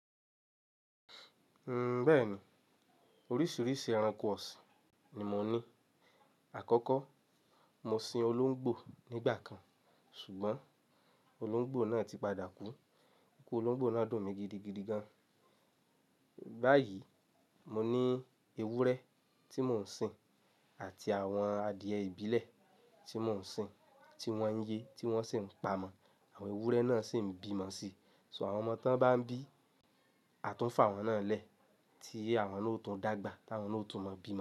N bẹ́ẹ̀ni, oríṣiríṣi ẹranko ọ̀sìn ni mò ń ní. Àkọ́kọ́, mo sin olóńgbò nígbà kan ṣùgbọ́n olóńgbò náà ti padà kú. Iku olóńgbò náà dùn mi gidigidi gan. Báyìí, mò ní ewúrẹ́ tí mò ń sin àti àwọn adìẹ ìbílẹ̀ tí mò ń sin, tí wọ́n ń ye tí wọ́n sì ń pa mọ́. Àwọn ewúrẹ́ náà sì ń bímọ síi. So àwọn ọmọ tán bá ń bí, a tún fàwọn náà lẹ́, tí àwọn náà ó tún dàgbà, táwọn náà ó tún mọ bí mọ́